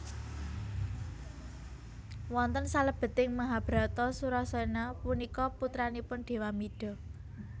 Wonten salebeting Mahabharata Surasena punika putranipun Dewamida